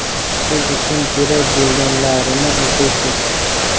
siz uchun kerak bo‘lganlarini o‘qiysiz.